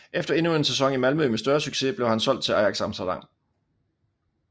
Efter endnu en sæson i Malmö med større succes blev han solgt til Ajax Amsterdam